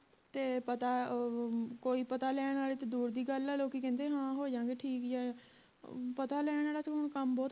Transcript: ਤੇ ਪਤਾ ਕੋਈ ਉਹ ਪਤਾ ਲੈਣ ਆਲੇ ਤਾਂ ਦੂਰ ਦੀ ਗੱਲ ਆ ਹਾਂ ਲੋਕੀ ਕਹਿੰਦੇ ਹਾਂ ਹੋ ਜਾਂਗੇ ਠੀਕ ਯਾ ਪਤਾ ਲੈਣ ਵਾਲਾ ਤੇ ਹੁਣ ਕੰਮ ਬੋਹਤ